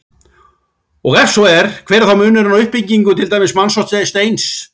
Og ef svo er, hver er þá munurinn á uppbyggingu til dæmis manns og steins?